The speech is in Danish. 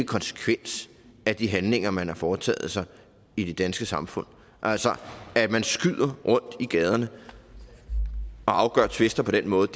konsekvens af de handlinger man har foretaget i det danske samfund altså at man skyder rundt i gaderne og afgør tvister på den måde